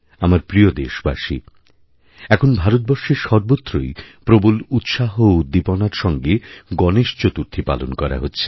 আমার প্রিয়দেশবাসী এখন ভারতবর্ষের সর্বত্রই প্রবল উৎসাহ ও উদ্দীপনার সঙ্গে গণেশ চতুর্থীপালন করা হচ্ছে